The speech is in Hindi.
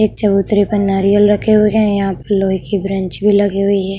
एक चबूतरे पर नारियल रखे हुए हैं। यहाँ पर लोहे की ब्रेंच बेंच भी लगी हुई है।